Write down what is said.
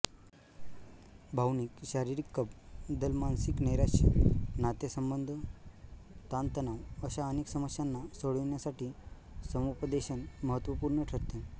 भावनिकशारीरिकबदलमानसिक नैराश्य नातेसंबंधताणतणाव अशा अनेक समस्यांना सोडविण्यासाठी समुपदेशन महत्त्वपूर्ण ठरते